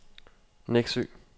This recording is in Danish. Neksø